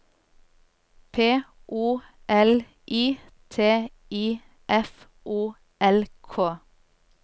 P O L I T I F O L K